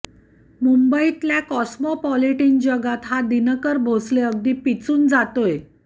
मुंबईतल्या कॉस्मोपॉलिटिन जगात हा दिनकर भोसले अगदी पिचून जातोय